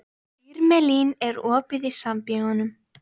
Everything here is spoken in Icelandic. Irmelín, er opið í Sambíóunum?